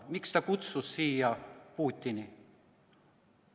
Miks ta kutsus siia Putini?